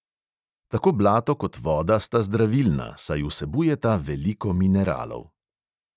Tako blato kot voda sta zdravilna, saj vsebujeta veliko mineralov.